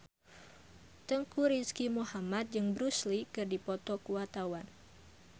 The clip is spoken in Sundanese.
Teuku Rizky Muhammad jeung Bruce Lee keur dipoto ku wartawan